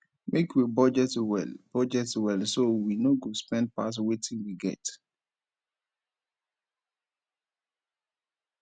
make we budget well budget well so we no go spend pass wetin we get